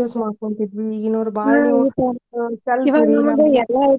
use ಮಾಡ್ಕೊಂತಿದ್ವಿ ಈಗಿನವ್ರ ಎಲ್ಲಾ ಐತಿ.